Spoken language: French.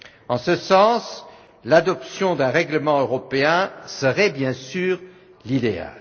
En ce sens, l'adoption d'un règlement européen serait bien sûr l'idéal.